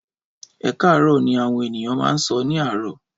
Ẹkarọ ni awọn eniyan ma n sọ ni àárò